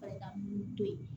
Farigan to ye